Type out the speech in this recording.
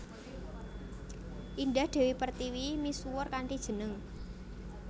Indah Dewi Pertiwi misuwur kanthi jeneng